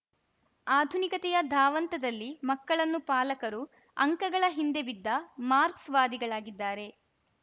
ಆಧುನಿಕತೆಯ ಧಾವಂತದಲ್ಲಿ ಮಕ್ಕಳನ್ನು ಪಾಲಕರು ಅಂಕಗಳ ಹಿಂದೆ ಬಿದ್ದ ಮಾರ್ಕ್ಸ್ ವಾದಿಗಳಾಗಿದ್ದಾರೆ